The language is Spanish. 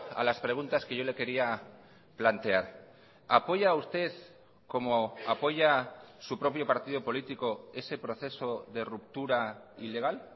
a las preguntas que yo le quería plantear apoya usted como apoya su propio partido político ese proceso de ruptura ilegal